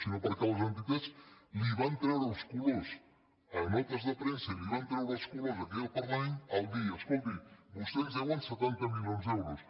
sinó perquè les entitats li van treure els colors a notes de premsa i li van treure els colors aquí al parlament al dir escolti vostès ens deuen setanta mili·ons d’euros